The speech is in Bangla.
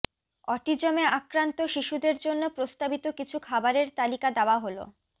অটিজমে আক্রান্ত শিশুদের জন্য প্রস্তাবিত কিছু খাবারের তালিকা দেওয়া হলোঃ